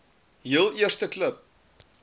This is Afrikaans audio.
heel eerste klub